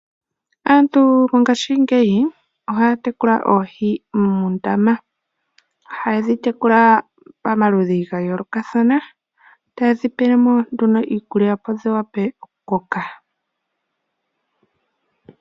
Aantu ngashingeyi ohaya tekula oohi muundama. Ohaye dhi tekula pamaludhi gayoolokathana etayi dhi pele mo iikulya opo dhi vule okukoka.